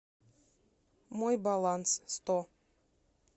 мой баланс сто